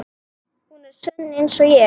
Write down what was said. Hún er sönn einsog ég.